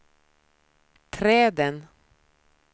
träden